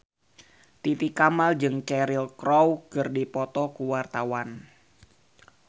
Titi Kamal jeung Cheryl Crow keur dipoto ku wartawan